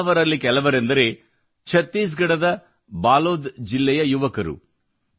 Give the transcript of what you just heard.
ಇಂತಹವರಲ್ಲಿ ಕೆಲವರೆಂದರೆ ಛತ್ತೀಸ್ ಗಢದ ಬಾಲೋದ್ ಜಿಲ್ಲೆಯ ಯುವಕರು